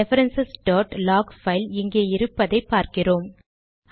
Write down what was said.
reference log file இங்கே இருப்பதை பார்க்கிறோம்